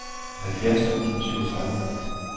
halvfjerds tusind og syvogtredive